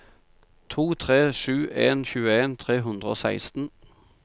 to tre sju en tjueen tre hundre og seksten